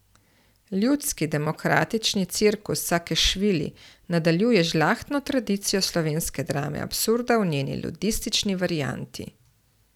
Ljudski demokratični cirkus Sakešvili nadaljuje žlahtno tradicijo slovenske drame absurda v njeni ludistični varianti.